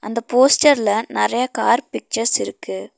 அந்த போஸ்டர்ல நெறைய கார் பிக்சர்ஸ் இருக்கு.